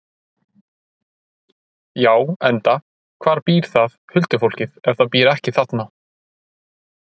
Já, enda, hvar býr það, huldufólkið, ef það býr ekki þarna?